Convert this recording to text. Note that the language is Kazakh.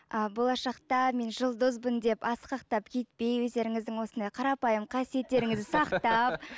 а болашақта мен жұлдызбын деп асқақтап кетпей өздеріңіздің осындай қарапайым қасиеттеріңізді сақтап